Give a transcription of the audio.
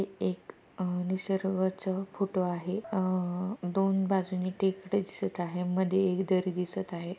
एक अह निसर्गाच फोटो आहे अह दोन बाजूनी टेकडे दिसत आहे मध्ये एक दरी दिसत आहे.